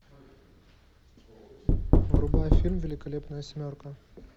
врубай фильм великолепная семерка